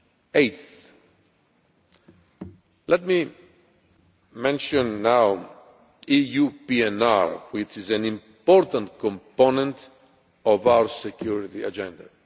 Eighthly, let me mention now EU PNR, which is an important component of our security agenda.